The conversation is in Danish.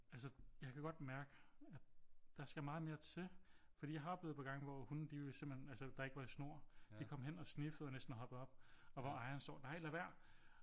Altså jeg kan godt mærke at der skal meget mere til fordi jeg har oplevet et par gange hvor hunde de vil simpelthen altså der ikke var i snor de kom hen og sniffede og næsten hoppede op og hvor ejeren står nej lad være